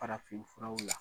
Farafin furaw la